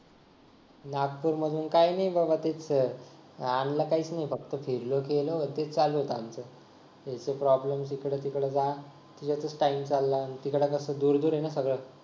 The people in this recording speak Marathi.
नागपूर मधून काय नाही बाबा तेच आणलं काहीच नाही फक्त फिरलो गेलो ते चालू होत आमच त्यांचा problem जिकड तिकड जा त्याच्यातच time चालला तिकड कसं दूर दूर आहे ना सगळं